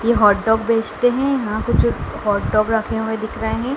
ये hot dog बेचते हैं यहाँ कुछ हॉट डॉग रखे हुए दिख रहे हैं।